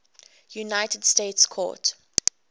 united states court